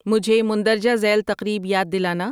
مجھے مندرجہ ذیل تقریب یاد دلانا